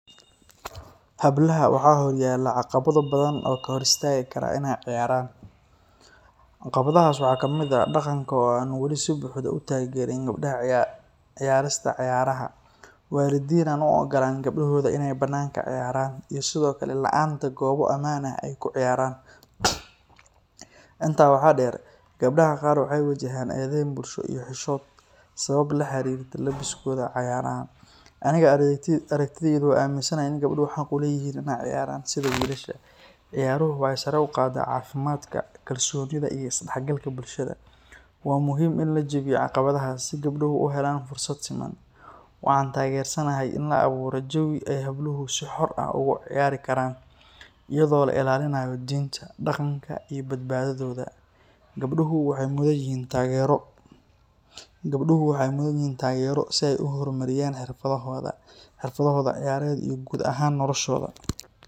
Hablaha waxaa hor yaala caqabada badan oo kahor istaagi Kara ineey ciyaaran, caqabadahaas waxaa kamid ah daqanka oo weli si xor ah utaagerin, waalidin aan u ogolaanin in gabdahooda banaanka ciyaaran iyo sido kale laanta gooba amaan ah oo aay ku ciyaaran, intaa waxaa deer gabdaha qaar waxeey wajahaan edeen bulsho iyo xishood sabab la xariirta labiskooda ciyaarta, aniga aragtideyda waxaa waye in gabdaha xaq uleeyihiin in aay ciyaaran sida wilasha, ciyaaruhu waxeey sare uqaada cafimaadka, kalsoonida iyo is dex galka bulshada, waa muhiim in la jabiyo caqabadahaas si gabduhu uhelaan fursad siman, waan tageersanahay in lasameeyo jawi aay habluhu si xor ah ugu ciyaari Karan ayado la ilaalinaayo diinta, daqanka iyo badbadadooda, gabduhu waxeey mudan yihiin taagero si aay uhor mariyaan xirfadahooda iyo ciyaared iyo guud ahaan noloshooda.